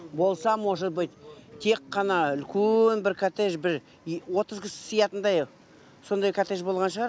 болса может быть тек қана үлкен бір коттедж бір отыз кісі сыятындай сондай коттедж болған шығар